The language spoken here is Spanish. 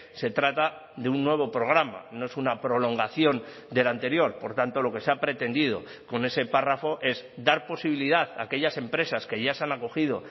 se trata de un nuevo programa no es una prolongación del anterior por tanto lo que se ha pretendido con ese párrafo es dar posibilidad a aquellas empresas que ya se han acogido